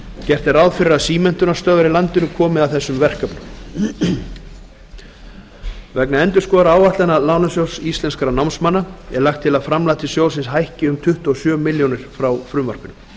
gert er ráð fyrir að símenntunarstöðvar í landinu komið að þessum verkefnum vegna endurskoðaðra áætlana lín er lagt til að framlag til sjóðsins hækki um tuttugu og sjö milljónir króna frá frumvarpinu